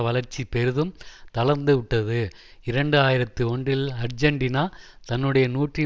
வளர்ச்சி பெரிதும் தளர்ந்துவிட்டது இரண்டு ஆயிரத்தி ஒன்றில் ஆர்ஜன்டினா தன்னுடைய நூற்றி